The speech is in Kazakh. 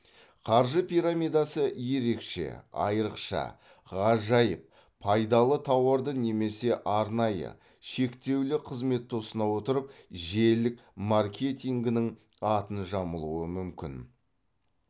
қаржы пирамидасы ерекше айырықша ғажайып пайдалы тауарды немесе арнайы шектеулі қызметті ұсына отырып желілік маркетингінің атын жамылуы мүмкін